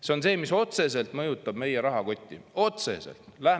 See on see, mis otseselt mõjutab meie rahakotti – otseselt!